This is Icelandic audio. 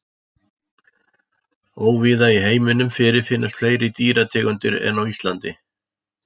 Óvíða í heiminum fyrirfinnast fleiri dýrategundir en á Indlandi.